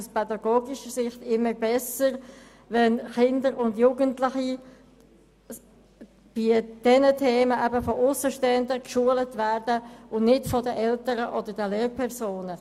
Aus pädagogischer Sicht ist es immer besser, wenn Kinder und Jugendliche bei diesen Themen von Aussenstehenden geschult werden und nicht von den Eltern oder den Lehrpersonen.